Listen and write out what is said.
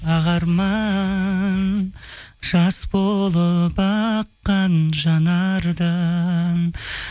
ақ арман жас болып аққан жанардан